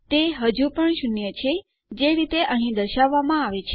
તે હજુ પણ શૂન્ય પર છે જે રીતે અહીં દર્શાવવામાં આવે છે